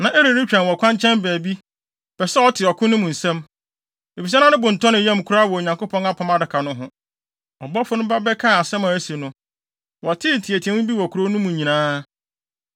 Na Eli retwɛn wɔ kwankyɛn baabi, pɛ sɛ ɔte ɔko no mu nsɛm, efisɛ na ne bo ntɔ ne yam koraa wɔ Onyankopɔn Apam Adaka no ho. Ɔbɔfo no ba bɛkaa asɛm a asi no, wɔtee nteɛteɛmu bi wɔ kurow no mu nyinaa.